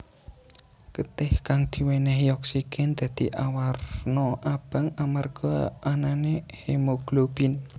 Getih kang diwènèhi oksigen dadi awarna abang amarga anané hemoglobin